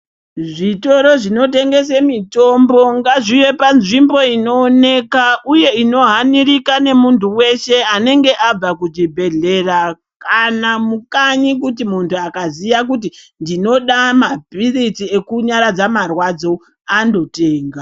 Zvitoro zvinotengese mitombo ngazvive panzvimbo inooneka uye inohanirika ngemuntu weshe anenge abva kuchibhedhlera kana mukanyi kuti muntu akaziya kuti ndinoda mapirizi ekunyaradza marwadzo andotenga.